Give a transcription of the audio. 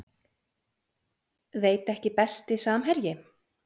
Veit ekki Besti samherji?